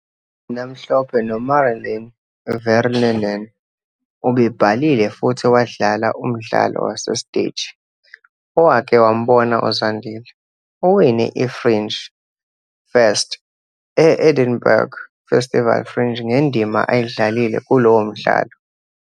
Mhlophe noMaralin Vanrenen, ubebhalile futhi wadlala umdlalo wasesteji Owake "Wambona uZandile". Uwine i-Fringe First e- Edinburgh Festival Fringe ngendima ayidlalile kulowo mdlalo.